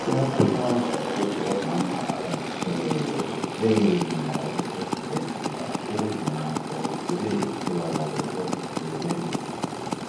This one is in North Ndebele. kuyakhuthazwa ukuthi omama abazithweleyo beyelinda esibhedlela ukuze nxa sokufike ithuba labo lokuthi bebelethe